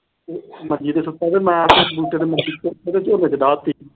ਮੰਜੀ ਤੇ ਸੁੱਤਾ ਪਿਆ। ਮੈਂ ਆ ਕੇ ਬੂਟੇ ਨੇ ਮੰਜੀ ਝੋਨੇ ਤੇ ਡਾਹ ਤੀ।